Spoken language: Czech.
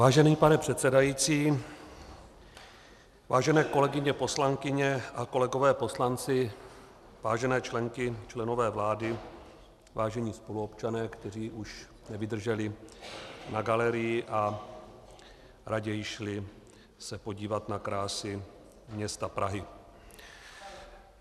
Vážený pane předsedající, vážené kolegyně poslankyně a kolegové poslanci, vážené členky, členové vlády, vážení spoluobčané, kteří už nevydrželi na galerii a raději se šli podívat na krásy města Prahy.